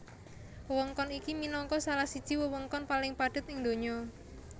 Wewengkon iki minangka salah siji wewengkon paling padhet ing donya